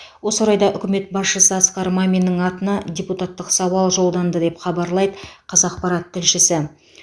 осы орайда үкімет басшысы асқар маминнің атына депутаттық сауал жолданды деп хабарлайды қазақпарат тілшісі